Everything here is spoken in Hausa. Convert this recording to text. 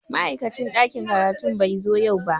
Ma'aikacin ɗakin karatu bai zo yau ba.